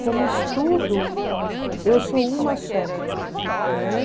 Como estudo, eu sou uma só. Né?